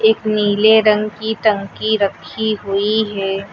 एक नीले रंग की टंकी रखी हुई है।